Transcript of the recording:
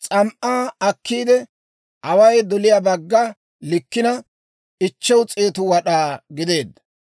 S'am"aa akkiide, away doliyaa bagga likkina, 500 wad'aa gideedda.